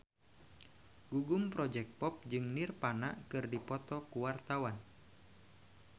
Gugum Project Pop jeung Nirvana keur dipoto ku wartawan